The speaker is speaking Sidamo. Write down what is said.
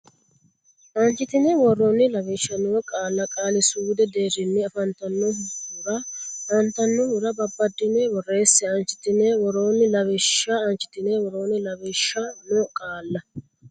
aanchitine woroonni Lawishsha noo qaalla qaali suudu deerrinni afantannohura antannohura babbaddine borreesse aanchitine woroonni Lawishsha aanchitine woroonni Lawishsha noo qaalla.